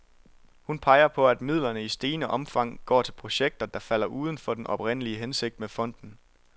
Hun peger på, at midlerne i stigende omfang går til projekter, der falder uden for den oprindelige hensigt med fonden.